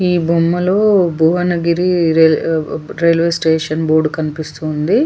ఈ బొమ్మలు Bhuvanagiri railway station board కనిపిస్తుంది.